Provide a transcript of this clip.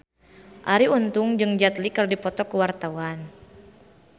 Arie Untung jeung Jet Li keur dipoto ku wartawan